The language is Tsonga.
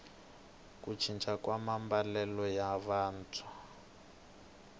ku cinca ka maambalelo ya vantshwa